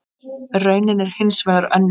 Raunin er hins vegar önnur.